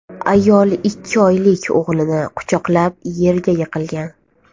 Ayol ikki oylik o‘g‘lini quchoqlab yerga yiqilgan.